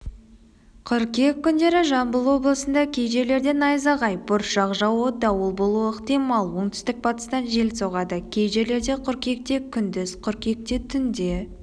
қыркүйек күндері жамбыл облысында кей жерлерде найзағай бұршақ жаууы дауыл болуы ықтимал оңтүстік-батыстан жел соғады кей жерлерде қыркүйекте күндіз қыркүйекте түнде